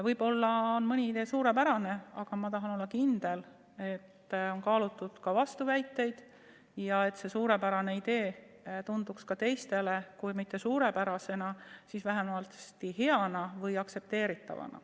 Võib-olla on mõni idee suurepärane, aga ma tahan olla kindel, et on kaalutud ka vastuväiteid ja et see suurepärane idee tunduks ka teistele kui mitte suurepärasena, siis vähemasti hea või aktsepteeritavana.